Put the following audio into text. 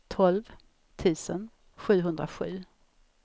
tolv tusen sjuhundrasju